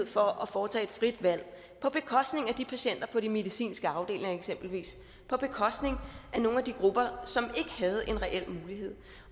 for at foretage et frit valg på bekostning af de patienter på de medicinske afdelinger eksempelvis på bekostning af nogle af de grupper som ikke havde en reel mulighed